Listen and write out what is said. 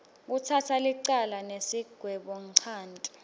kutsatsa licala nesigwebonchanti